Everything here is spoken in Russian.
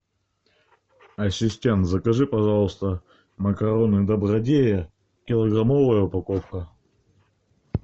ассистент закажи пожалуйста макароны добродея килограммовая упаковка